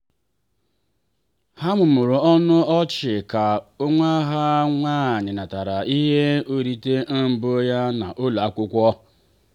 ha mụmụrụ ọnụ ọchị ka nwa ha nwanyị natara ihe nrite mbụ ya n’ụlọ akwụkwọ.